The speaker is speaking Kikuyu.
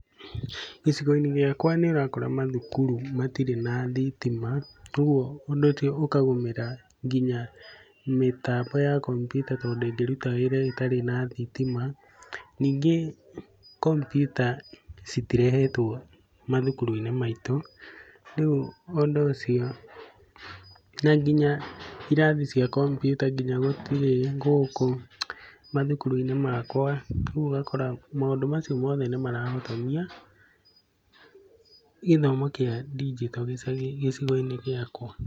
Gĩcigo-inĩ gĩakwa nĩ ũrakora mathukuru matirĩ na thitima, ũguo ũndũ ũcio ũkagũmĩra nginya mĩtambo ya kombiuta tondũ ndĩngĩruta wĩra ĩtarĩ na thitima. Ningĩ kompiuta citirehetwo mathukuru-inĩ maitũ, rĩu ũndu ũcio, na nginya irathi cia kombiuta gũtirĩ gũkũ mathukuru-inĩ makwa. Ũguo ũgakora maũndu macio mothe nĩ ,marahotomia gĩthomo kĩa ndinjito gĩcigo-inĩ gĩakwa.